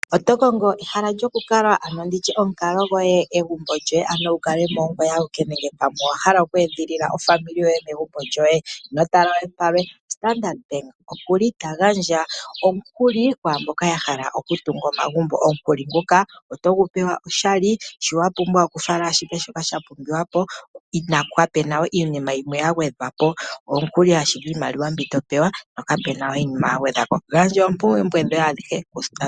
Oto kongo ehala lyokukala nenge olukalwa lwoye nenge egumbo lyoye ano wu kale mo ongoye awike nenge pamwe owa hala oku edhilila aakwanezimo yoye megumbo lyoye? Ino tala we palwe, Standard Bank ota gandja omukuli kwaa mboka ya hala okutunga omagumbo. Omukuli nguka otogu pewa oshali. Shoka wa pumbwa okuninga okufala ashike shoka sha pumbiwa po, kapu na we iinima yimwe ya gwedhwa po, omukuli ashike. Gandja oompumbwe dhoye adhihe kuStandard Bank.